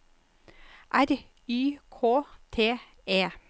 R Y K T E